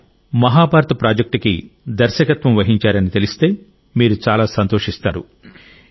ఆయన మహాభారత్ ప్రాజెక్ట్కి దర్శకత్వం వహించారని తెలిస్తే మీరు చాలా సంతోషిస్తారు